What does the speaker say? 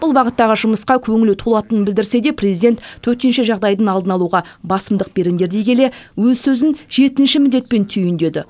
бұл бағыттағы жұмысқа көңілі толатынын білдірсе де президент төтенше жағдайдың алдын алуға басымдық беріңдер дей келе өз сөзін жетінші міндетпен түйіндеді